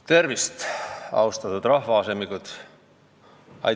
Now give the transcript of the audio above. Tervist, austatud rahvaasemikud!